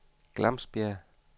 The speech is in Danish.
Glamsbjerg